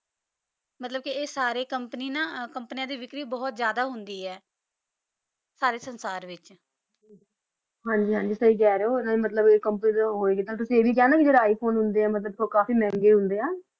ਮਤਲਬ ਕੇ ਆਯ ਸਾਰੀ ਕੋਮ੍ਪਾਨੀ ਨਾ ਕੋਮ੍ਪ੍ਨਿਯਾਂ ਦੀ ਵਿਕਰੀ ਬੋਹਤ ਜਿਆਦਾ ਹੁੰਦੀ ਆਯ ਸਾਰੇ ਸੰਸਾਰ ਵਿਚ ਹਾਂਜੀ ਹਾਂਜੀ ਸਹੀ ਕਹ ਰਹੀ ਊ ਨਾਲੀ ਮਤਲਬ ਕੋਈ ਕੰਪਿਊਟਰ ਹੋਆਯ ਤੇ ਨਾਲੀ ਤੁਸੀਂ ਈਯ ਵੀ ਕਹਯ ਕੇ ਨਾ ਜੇਰਾ ਆਇਫੋਨੇ ਹੁੰਦੇ ਆ ਮਤਲਬ ਊ ਕਾਫੀ ਮੇਹ੍ਨ੍ਗਾਯ ਹੁੰਦੇ ਆ